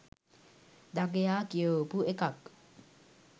දඟයා කියවපු එකක්